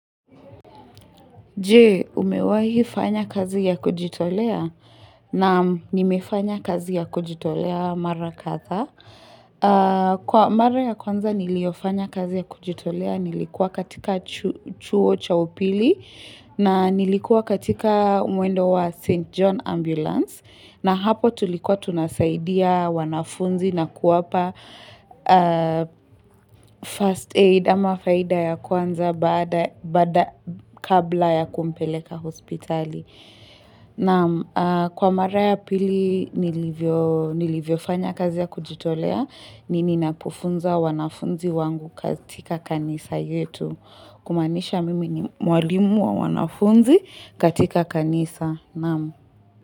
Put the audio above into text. Je umewahi fanya kazi ya kujitolea naam nimefanya kazi ya kujitolea mara kadhaa. Kwa mara ya kwanza niliyofanya kazi ya kujitolea nilikua katika chuo cha upili na nilikua katika mwendo wa St. John Ambulance. Na hapo tulikuwa tunasaidia wanafunzi na kuwapa first aid ama faida ya kwanza baada kabla ya kumpeleka hospitali. Nama kwa mara ya pili nilivyofanya kazi ya kujitolea ni ninapofunza wanafunzi wangu katika kanisa yetu. Kumaanisha mimi ni mwalimu wa wanafunzi katika kanisa.